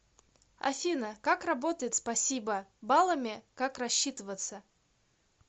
афина как работает спасибо баллами как рассчитываться